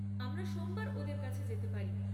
আমরা সোমবার ওদের কাছে যেতে পারি।